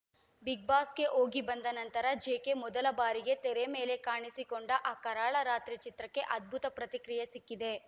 ಬಿಗ್‌ಬಾಸ್‌ಗೆ ಹೋಗಿ ಬಂದ ನಂತರ ಜೆಕೆ ಮೊದಲ ಬಾರಿಗೆ ತೆರೆ ಮೇಲೆ ಕಾಣಿಸಿಕೊಂಡ ಆ ಕರಾಳ ರಾತ್ರಿ ಚಿತ್ರಕ್ಕೆ ಅದ್ಭುತ ಪ್ರತಿಕ್ರಿಯೆ ಸಿಕ್ಕಿದೆ